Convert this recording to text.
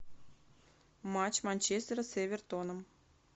матч манчестера с эвертоном